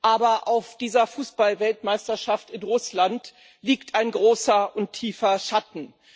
Aber auf dieser Fußballweltmeisterschaft in Russland liegt ein großer und tiefer Schatten.